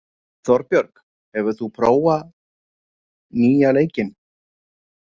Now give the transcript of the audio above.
Þorbjörg, hefur þú prófað nýja leikinn?